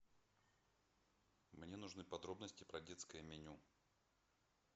мне нужны подробности про детское меню